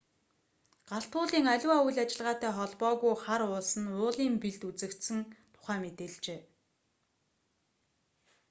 галт уулын аливаа үйл ажиллагаатай холбоогүй хар уулс нь уулын бэлд үзэгдсэн тухай мэдээлжээ